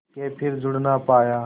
के फिर जुड़ ना पाया